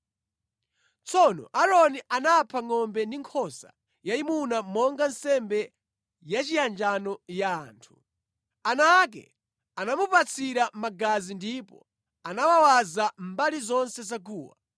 Tsono Aaroni anapha ngʼombe ndi nkhosa yayimuna monga nsembe yachiyanjano ya anthu. Ana ake anamupatsira magazi ndipo anawawaza mbali zonse za guwa.